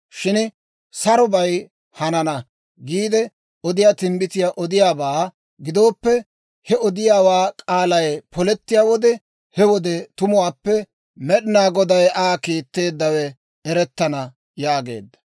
Shin, ‹Sarobay hanana› giide odiyaa timbbitiyaa odiyaawaabaa gidooppe, he odiyaawaa k'aalay polettiyaa wode, he wode tumuwaappe Med'inaa Goday Aa kiitteeddawaa erettana» yaageedda.